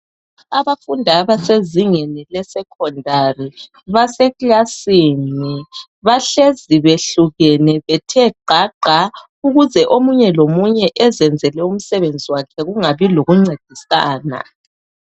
Abafundi abasezingeni lesecondary basekilasini bahlezi behlukene bethe gqagqa ukuze omunye lomunye ezenzele umsebenzi wakhe kungabi lokuncedisana.